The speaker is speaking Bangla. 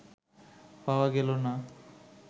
পাওয়া গেল না